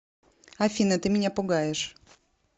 афина ты меня пугаешь